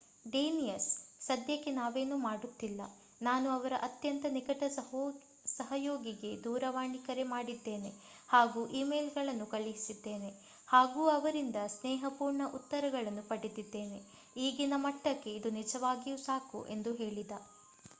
Danius ಸಧ್ಯಕ್ಕೆ ನಾವೇನೂ ಮಾಡುತ್ತಿಲ್ಲ. ನಾನು ಅವರ ಅತ್ಯಂತ ನಿಕಟ ಸಹಯೋಗಿಗೆ ದೂರವಾಣಿ ಕರೆ ಮಾಡಿದ್ಡೇನೆ ಹಾಗೂ ಈಮೇಲ್‌ಗಳನ್ನು ಕಳಿಸಿದ್ದೇನೆ ಹಾಗೂ ಅವರಿಂದ ಸ್ನೇಹಪೂರ್ಣ ಉತ್ತರಗಳನ್ನು ಪಡೆದಿದ್ದೇನೆ. ಈಗಿನ ಮಟ್ಟಕ್ಕೆ ಇದು ನಿಜವಾಗಿಯೂ ಸಾಕು ಎಂದು ಹೇಳಿದ